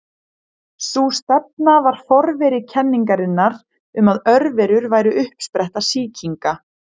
Sú stefna var forveri kenningarinnar um að örverur væru uppspretta sýkinga.